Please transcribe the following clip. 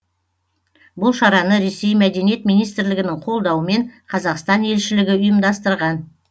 бұл шараны ресей мәдениет министрлігінің қолдауымен қазақстан елшілігі ұйымдастырған